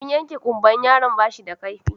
Abin yanke ƙumbar yaron bashi da kaifi